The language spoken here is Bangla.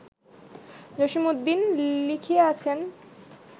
জসীমউদ্দীন লিখিয়াছেন